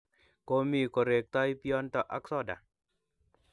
Komii koreektoi bionto ak soda.